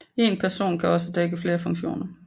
En person kan også dække flere funktioner